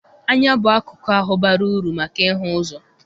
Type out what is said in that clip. Anya bụ akụkụ ahụ bara uru maka ịhụ ụzọ.